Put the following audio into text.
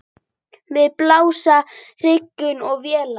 Við blasa hergögn og vélar.